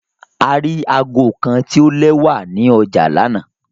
A ri aago kan ti o lẹwa ni ọja lana